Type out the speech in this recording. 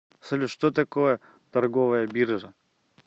салют что такое торговая биржа